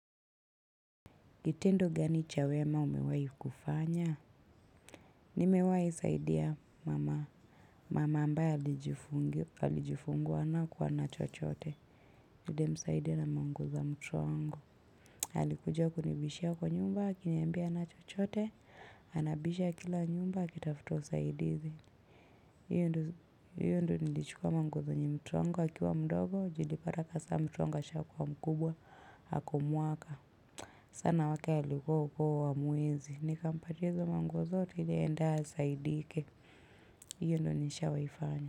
Gitendo gani cha wema umewahi kufanya. Nimewai saidia mama. Mama ambaye alijifungua nakuwa na chochote. Nlimsaidi na manguo za mtoto wango. Halikuja kunibishia kwa nyumba, akinyambia ana chochote. Anabisha kila nyumba, akitafuto usaidizi. Hiyo ndou nilichukua manguo zenye mtuwango, akiwa mdogo, julipara kasa mtuwango asha kwa mkubwa, hako mwaka. Sana wake aliko uko wa muwezi. Nikampatia izo manguo zote iliaenda asaidike. Iyo ndo nisha waifanya.